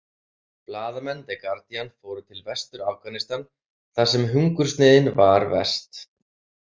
Blaðamenn the Guardian fóru til Vestur- Afghanistan þar sem hungursneyðin var verst.